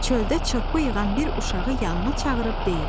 Çöldə çırpı yığan bir uşağı yanına çağırıb deyir: